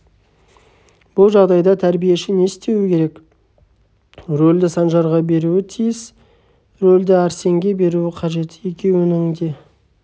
бұл жағдайда тәрбиеші не істеуі керек рөлді санжарға беруі тиіс рөлді арсенге беруі қажет екеуінің де